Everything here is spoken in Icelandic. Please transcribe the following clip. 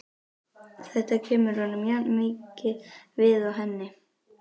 Þetta kemur honum jafnmikið við og henni.